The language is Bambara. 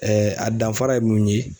a danfara ye mun ye